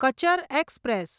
Cachar express